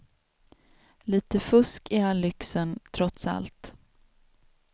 Lite fusk i all lyxen, trots allt.